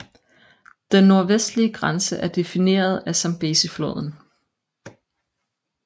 Den nordvestlige grænse er defineret af Zambezifloden